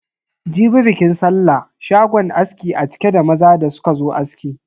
Jibi bikin sallah, shagon askin a cike da maza da suka zo aski.